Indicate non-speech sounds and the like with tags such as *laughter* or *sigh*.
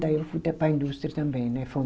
Daí eu fui até para a indústria também, né? *unintelligible*